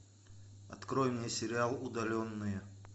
открой мне сериал удаленные